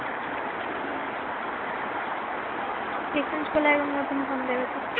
হম exchange করলে এবার নতুন ফোন দিবে তো